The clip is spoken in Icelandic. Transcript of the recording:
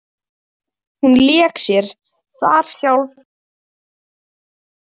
Hún lék sér þar sjálf þegar hún var lítil.